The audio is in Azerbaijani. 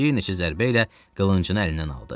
Bir neçə zərbə ilə qılıncını əlindən aldı.